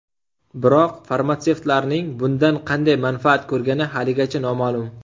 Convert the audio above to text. Biroq farmatsevtlarning bundan qanday manfaat ko‘rgani haligacha noma’lum?